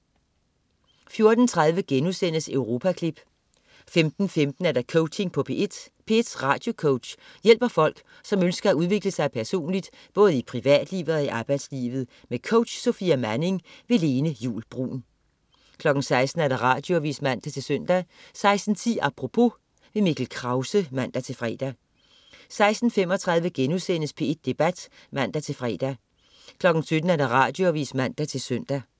14.30 Europaklip* 15.15 Coaching på P1. P1s radiocoach hjælper folk, som ønsker at udvikle sig personligt, både i privatlivet og i arbejdslivet. Med coach Sofia Manning. Lene Juul Bruun 16.00 Radioavis (man-søn) 16.10 Apropos. Mikkel Krause (man-fre) 16.35 P1 Debat* (man-fre) 17.00 Radioavis (man-søn)